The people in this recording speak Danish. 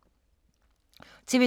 TV 2